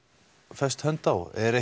fest hönd á er